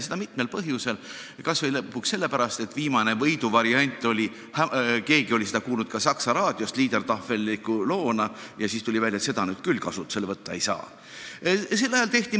Seda mitmel põhjusel, kas või lõpuks sellepärast, et viimast, võiduvarianti oli keegi kuulnud Saksa raadiost liedertafel'liku loona ja siis tuli välja, et seda nüüd küll kasutusele võtta ei saa.